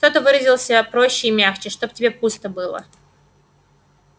кто-то выразился проще и мягче чтоб тебе пусто было